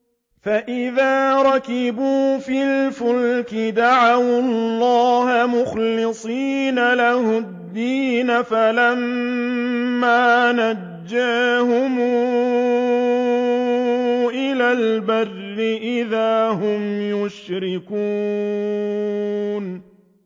فَإِذَا رَكِبُوا فِي الْفُلْكِ دَعَوُا اللَّهَ مُخْلِصِينَ لَهُ الدِّينَ فَلَمَّا نَجَّاهُمْ إِلَى الْبَرِّ إِذَا هُمْ يُشْرِكُونَ